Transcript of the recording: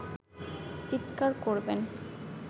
চিৎকার করবেন